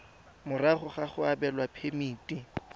morago ga go abelwa phemiti